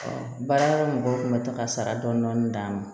baarakɛyɔrɔ mɔgɔw tun bɛ taa ka sara dɔɔnin dɔɔnin d'a ma